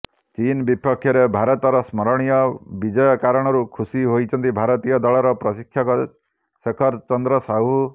ଚୀନ୍ ବିପକ୍ଷରେ ଭାରତର ସ୍ମରଣୀୟ ବିଜୟ କାରଣରୁ ଖୁସୀ ହୋଇଛନ୍ତି ଭାରତୀୟ ଦଳର ପ୍ରଶିକ୍ଷକ ଶେଖର ଚନ୍ଦ୍ର ସାହୁ